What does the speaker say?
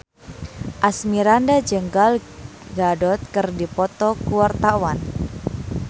Asmirandah jeung Gal Gadot keur dipoto ku wartawan